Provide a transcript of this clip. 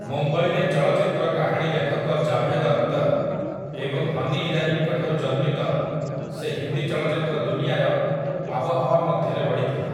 ମୁମ୍ବାଇରେ ଚଳଚ୍ଚିତ୍ର କାହାଣୀ ଲେଖକ ଜାଭେଦ୍ ଅଖ୍ତର୍ ଏବଂ ହନି ଇରାନୀଙ୍କ ଠାରୁ ଜନ୍ମିତ, ସେ ହିନ୍ଦୀ ଚଳଚ୍ଚିତ୍ର ଦୁନିଆର ଆବହାୱା ମଧ୍ୟରେ ବଢ଼ିଥିଲେ ।